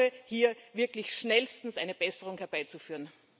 Ich ersuche hier wirklich darum, schnellstens eine Besserung herbeizuführen.